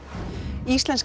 íslensk